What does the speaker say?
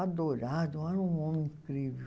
Adorado, era um homem incrível.